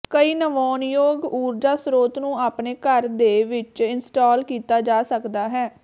ਕਈ ਨਵਿਆਉਣਯੋਗ ਊਰਜਾ ਸਰੋਤ ਨੂੰ ਆਪਣੇ ਘਰ ਦੇ ਵਿੱਚ ਇੰਸਟਾਲ ਕੀਤਾ ਜਾ ਸਕਦਾ ਹੈ